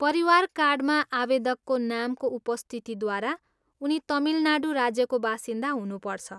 परिवार कार्डमा आवेदकको नामको उपस्थितिद्वारा उनी तमिलनाडू राज्यको बासिन्दा हुनुपर्छ।